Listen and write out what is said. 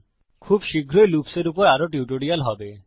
খুব শীঘ্রই লুপ্সের উপর আরো টিউটোরিয়াল হবে